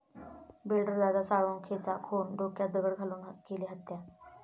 builder Dada साळुंखेचा खून, डोक्यात दगड घालून केली हत्या